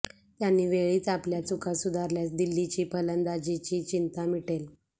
त्यांनी वेळीच आपल्या चुका सुधारल्यास दिल्लीची फलंदाजीची चिंता मिटेल